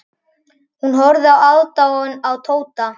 Hún horfði með aðdáun á Tóta.